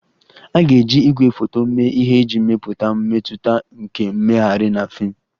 A ga-eji igwefoto mee ihe iji mepụta mmetụta nke mmegharị na fim